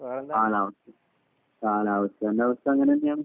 കാലാവസ്ഥയുടെ അവസ്ഥ അങ്ങനെയാണ്